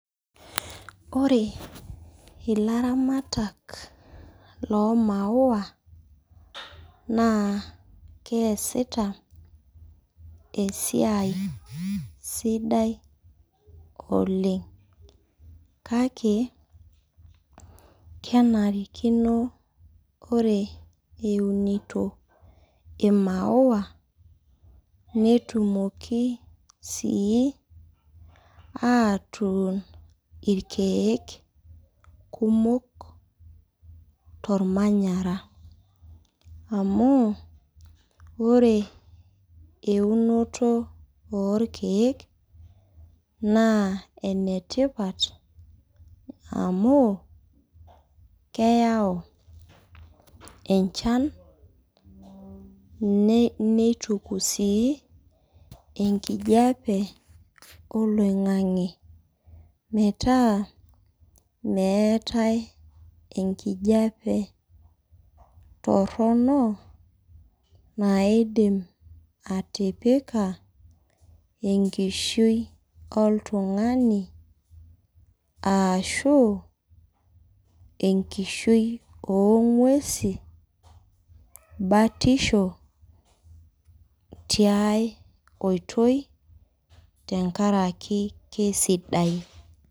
Ilaramata loo maua naa keesita esia sidai oleng ake kenarikino ore eunito netumoki aje sii atuun irkeek kumok tormanyara. Amuu ore eunoto oorkeek naa enetipat amuu keyau enchan neituku sii enkijape oloingange metaa meetae enkijape toronok naidim atipaka enkishui oltungani ashuu enoonguesi batisho tiai oitoi tenkaraki keisidai